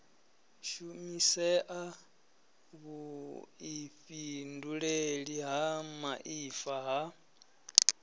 shumisea vhuifhinduleli ha muaifa ha